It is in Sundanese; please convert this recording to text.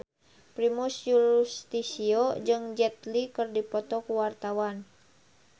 Primus Yustisio jeung Jet Li keur dipoto ku wartawan